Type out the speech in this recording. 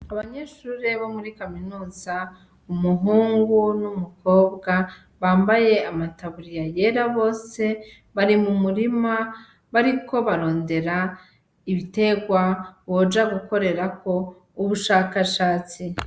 Abanyeshure bo muri kaminuza, umuhungu n'umukobwa bambaye amataburiya yera bose, bari mu murima abariko barondera ibiterwa boja gukorerako ubushakashatsi.